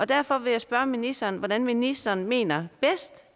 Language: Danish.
derfor vil jeg spørge ministeren om hvordan ministeren mener